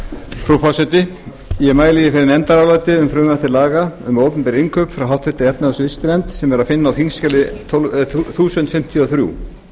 frú forseti ég mæli hér fyrir nefndaráliti um frumvarp til laga um opinber innkaup frá háttvirtri efnahags og viðskiptanefnd sem er að finna á þingskjali þúsund fimmtíu og þrjú